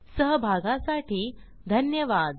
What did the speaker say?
सहभागासाठी धन्यवाद